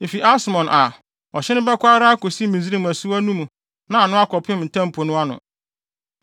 Efi Asmon a, ɔhye no bɛkɔ ara akosi Misraim asuwa no mu na ano akɔpem Ntam Po no ano.